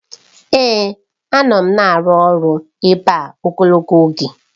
Èè! Anọ m na-arụ ọrụ ebe a ogologo oge.